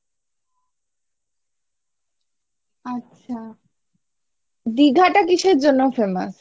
আচ্ছা দিঘাটা কিসের জন্য famous?